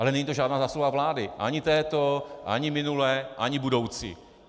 Ale není to žádná zásluha vlády, ani této ani minulé ani budoucí.